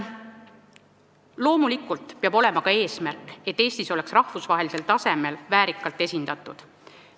Loomulikult peab meil olema ka eesmärk, et Eesti oleks rahvusvahelisel tasemel väärikalt esindatud.